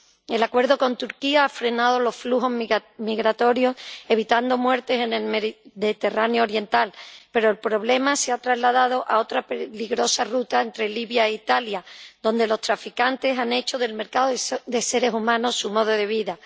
El Acuerdo con Turquía ha frenado los flujos migratorios evitando muertes en el Mediterráneo oriental, pero el problema se ha trasladado a otra peligrosa ruta entre Libia e Italia, donde los traficantes han hecho del mercado de seres humanos su modo de vida.